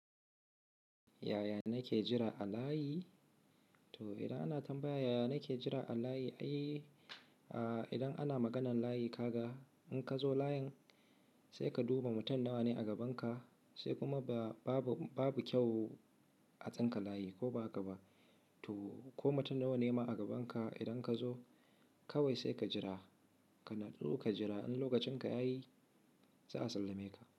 Yaya nake jira a layi? To idan ana tambaya yaya nake jira a layi, ai idan ana maganan layi kaga in ka zo layin sai ka duba mutum nawa ne a gaban ka, sai kuma babu kyau a tsinka layi ko ba haka ba. To ko mutum nawa ne ma a gaban ka idan ka zo kawai sai ka jira, ka natsu ka jira in lokacin ka yayi za a sallame ka.